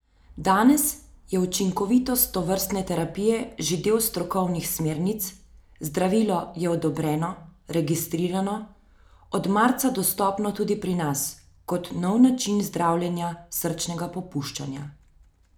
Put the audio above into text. Danes je učinkovitost tovrstne terapije že del strokovnih smernic, zdravilo je odobreno, registrirano, od marca dostopno tudi pri nas, kot nov način zdravljenja srčnega popuščanja.